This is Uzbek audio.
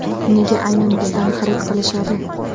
Nega aynan bizdan xarid qilishadi?